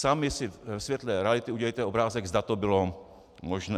Sami si ve světle reality udělejte obrázek, zda to bylo možné.